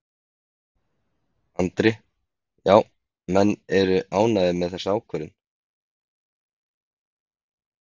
Andri: Já, menn eru ánægðir með þessa ákvörðun?